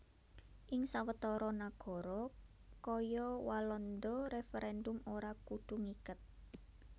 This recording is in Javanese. Ing sawetara nagara kaya Walanda referendum ora kudu ngiket